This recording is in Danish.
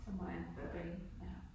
Så må han på banen ja